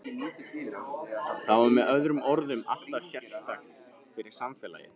Það var með öðrum orðum alltof sérstakt fyrir samfélagið.